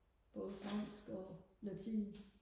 både fransk og latin